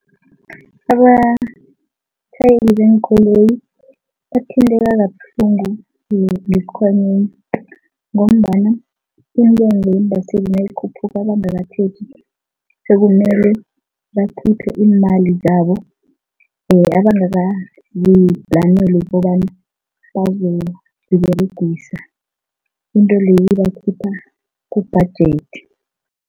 Abatjhayeli beenkoloyi bathinteka kabuhlungu ngesikhwameni ngombana intengo yeembaseli nayikhuphuka bangakatheli sekumele bakhiphe iimali zabo abangakaziplaneli ukobana bazoziberegisa, into leyo ibakhipha ku-budget.